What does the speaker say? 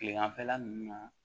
Kileganfɛla ninnu na